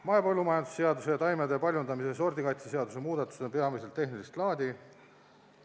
Mahepõllumajanduse seaduse ning taimede paljundamise ja sordikaitse seaduse muudatused on peamiselt tehnilist laadi.